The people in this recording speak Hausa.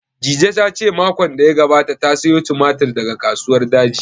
Dije ta ce makon da ya gabata ta sayo tumatir daga Kasuwar Daji